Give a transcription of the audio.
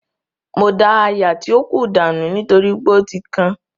Mo da áyá tí ó kù dànù nítorí pé ó ti kan